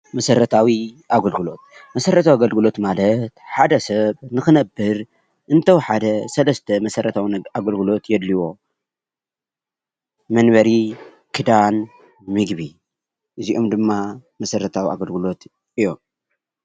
መሰረታዊ ኣገልግሎት መሰረታዊ ኣገልግሎት ማለት ሓደ ሰብ ንክነብር እንተወሓደ ሰለስተ መሰረታዊ ኣገልግሎት የድልዮ መንበሪ ፣ክዳን ፣ምግቢ እዚኦም ድማ መሰረታዊ ኣገልግሎት እዮም።